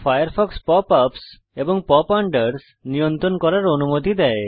Firefox pop ups এবং pop unders নিয়ন্ত্রণ করার অনুমতি দেয়